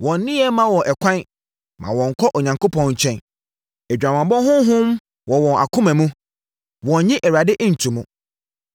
“Wɔn nneyɛeɛ mma wɔn ɛkwan mma wɔnkɔ Onyankopɔn nkyɛn. Adwamammɔ honhom wɔ wɔn akoma mu; wɔnnye Awurade nto mu.